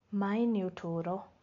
mai ni ũtũro